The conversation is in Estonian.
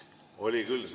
Oli küll selline asi.